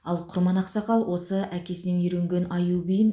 ал құрман ақсақал осы әкесінен үйренген аю биін